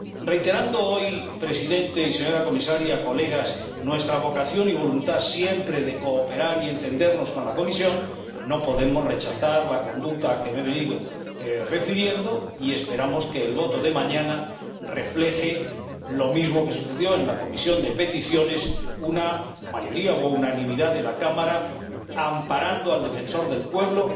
Reiterando hoy, señor Presidente, señora Comisaria, colegas, nuestra vocación y voluntad, siempre, de cooperar y entendernos con la Comisión, no podemos sino rechazar la conducta a la que me he venido refiriendo y esperamos que el voto de mañana refleje lo mismo que sucedió en la Comisión de Peticiones una mayoría o unanimidad en la Cámara que ampare al Defensor del Pueblo,